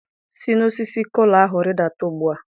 si n'osisi kola ahu ridata ugbua!